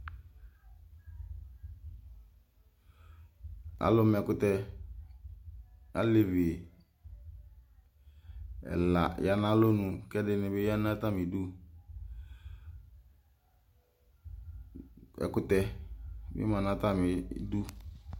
Alʋma ɛkʋtɛ, alevi ɛla ya nʋ alɔnʋ, kʋ ɛdɩnɩ bɩ ya nʋ atamɩ ɩdʋ Ɛkʋtɛ bɩ ma nʋ atamɩ ɩdʋ